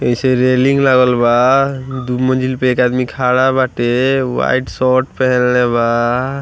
ऐसे रेलिंग लागल बा दू मंजिल पे एक आदमी खड़ा बाटे व्हाइट शर्ट पहनले बा।